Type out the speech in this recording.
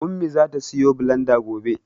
Ummi zata siyo bilanda gobe.